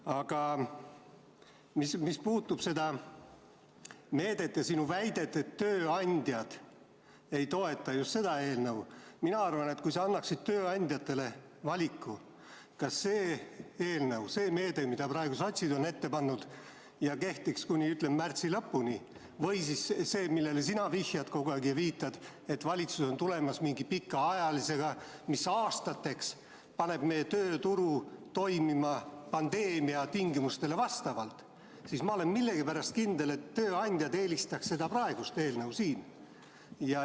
Aga mis puudutab seda meedet ja sinu väidet, et tööandjad ei toeta just seda eelnõu, siis mina arvan, et kui sa annaksid tööandjatele valiku, kas see eelnõu, see meede, mida praegu sotsid on ette pannud ja mis kehtiks kuni märtsi lõpuni, või siis see, millele sina kogu aeg viitad, et valitsus on tulemas mingi pikaajalisega, mis aastateks paneb meie tööturu toimima pandeemia tingimustele vastavalt, siis ma olen millegipärast kindel, et tööandjad eelistaks seda praegust eelnõu siin.